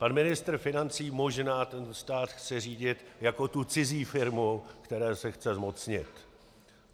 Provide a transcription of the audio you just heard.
Pan ministr financí možná tento stát chce řídit jako tu cizí firmu, které se chce zmocnit.